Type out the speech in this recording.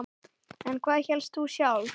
En hvað hélst þú sjálf?